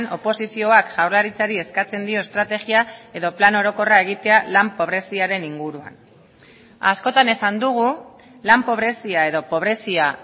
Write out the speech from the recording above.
oposizioak jaurlaritzari eskatzen dio estrategia edo plan orokorra egitea lan pobreziaren inguruan askotan esan dugu lan pobrezia edo pobrezia